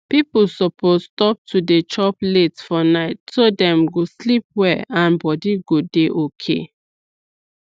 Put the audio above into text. people suppose stop to dey chop late for night so dem go sleep well and body go dey okay